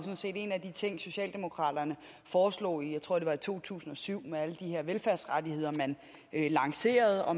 en af de ting socialdemokraterne foreslog jeg tror det var i to tusind og syv med alle de her velfærdsrettigheder man lancerede og